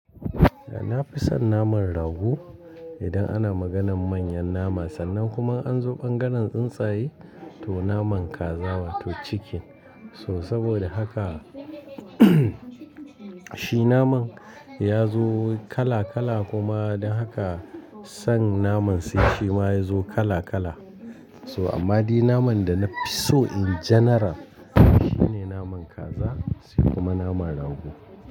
Eh na fi son naman rago idan ana maganan manyan nama sannan kuma an zo bangaren tsuntsaye to naman kaza wato chicken. So saboda haka shi naman ya zo kala kala kuma don haka son naman sai shi ma ya zo kala kala. So amma dai naman da na fi so in general shine naman kaza sai kuma naman rago.